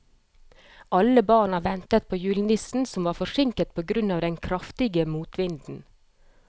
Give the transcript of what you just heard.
Alle barna ventet på julenissen, som var forsinket på grunn av den kraftige motvinden.